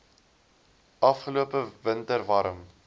afgelope winter warm